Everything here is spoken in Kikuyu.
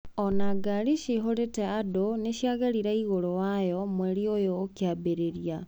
Ona gari ciihũrite andũ niciagerire igũrũ wayo mweri ũyũ ũkiambiriria.